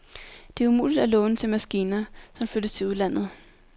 Det er umuligt at låne til maskiner, som flyttes til udlandet.